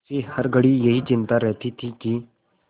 उसे हर घड़ी यही चिंता रहती थी कि